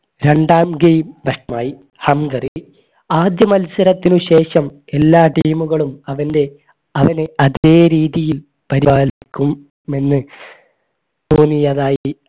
രണ്ടാം game Hungary ആദ്യ മത്സരത്തിനു ശേഷം എല്ലാ team കളും അവൻറെ അവനെ അതേ രീതിയിൽ പരിപാലി ക്കും എന്ന് തോന്നിയതായി